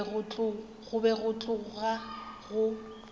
go be go tloga go